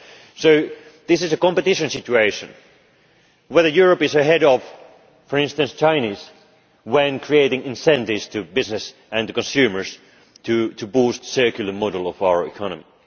us. So this is a competition situation whether Europe is ahead of, for instance, the Chinese, when creating incentives to business and consumers to boost the circular model of our economy.